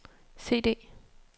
CD